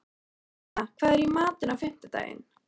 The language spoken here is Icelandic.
Írena, hvað er í matinn á fimmtudaginn?